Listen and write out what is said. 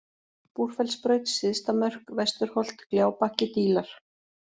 Búrfellsbraut, Syðsta-Mörk, Vesturholt Gljábakki, Dílar